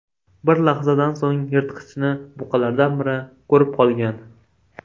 Bir lahzadan so‘ng yirtqichni buqalardan biri ko‘rib qolgan.